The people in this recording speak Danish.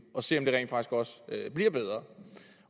og se om det også bliver bedre